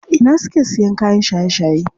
A ina suke siyo kayan shaye shaye?